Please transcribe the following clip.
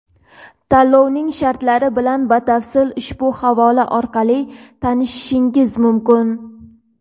Tanlovning shartlari bilan batafsil ushbu havola orqali tanishishingiz mumkin.